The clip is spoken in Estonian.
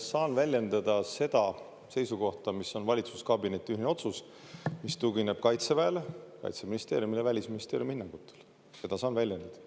Saan väljendada seda seisukohta, mis on valitsuskabineti ühine otsus, mis tugineb Kaitseväele, Kaitseministeeriumile, Välisministeeriumi hinnangutele, seda saan väljendada.